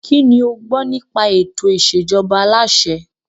Kínní o gbọ́ nípa ètò ìṣèjọba aláṣẹ?